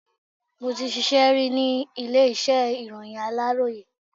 Mo ti ṣíṣe ri ni ilé iṣẹ́ ìròyìn aláròyé.